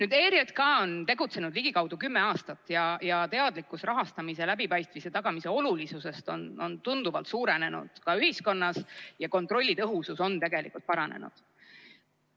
ERJK on tegutsenud ligikaudu kümme aastat ja teadlikkus rahastamise läbipaistvuse tagamise olulisusest on tunduvalt suurenenud ka ühiskonnas ning kontrolli tõhusus on tegelikult paranenud.